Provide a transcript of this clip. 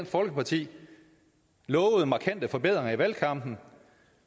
folkeparti lovede markante forbedringer i valgkampen